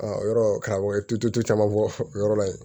yɔrɔ karamɔgɔ tu caman bɔ yɔrɔ la yen